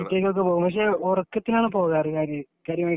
വിദേശത്തേക്കുള്ള യാത്രകൾ പക്ഷെ ഉറക്കത്തിലാണ് പോകാറ് കാര്യമായിട്ട്